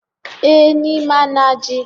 E! ni ma na ji.